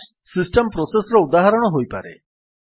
bash system process ର ଉଦାହରଣ ହୋଇପାରେ